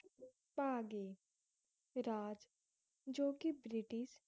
ਭਾਗੇ ਰਾਜ ਜੋ ਕਿ ਬ੍ਰਿਟਿਸ਼